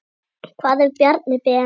Hvað ef Bjarni Ben.